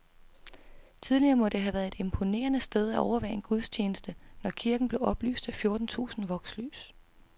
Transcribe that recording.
Tidligere må det have været et imponerende sted at overvære en gudstjeneste, når kirken blev oplyst af fjorten tusind vokslys.